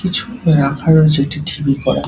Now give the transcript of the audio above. কিছু রাখা রয়েছে একটি ডিবি করা।